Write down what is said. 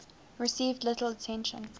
received little attention